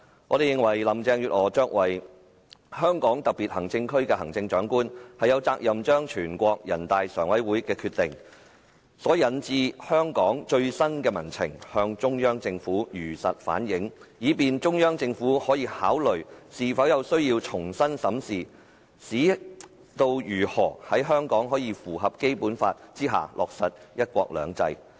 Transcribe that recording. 我們認為林鄭月娥作為香港特別行政區的行政長官，有責任將人大常委會的決定所引致的香港最新民情向中央政府如實反映，以便中央政府可考慮是否有需要重新審視如何在香港符合《基本法》下落實"一國兩制"。